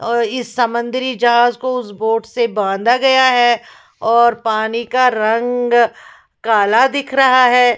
ओय इस समंदरी जहाज़ को उस बोट से बांधा गया है और पानी का रंग काला दिख रहा है।